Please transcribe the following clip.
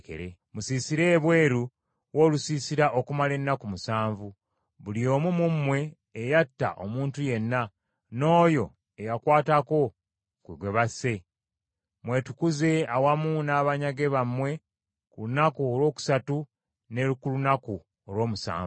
“Musiisire ebweru w’olusiisira okumala ennaku musanvu. Buli omu mu mmwe eyatta omuntu yenna, n’oyo eyakwatako ku gwe basse, mwetukuze awamu n’abanyage bammwe ku lunaku olwokusatu ne ku lunaku olw’omusanvu.